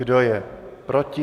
Kdo je proti?